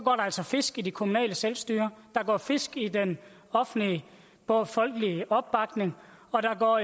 altså fisk i det kommunale selvstyre der går fisk i den offentlige og folkelige opbakning og